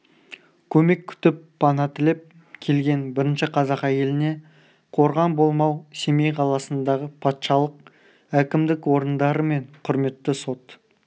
көмек күтіп пана тілеп келген бірінші қазақ әйеліне қорған болмау семей қаласындағы патшалық әкімдік орындары мен құрметті сот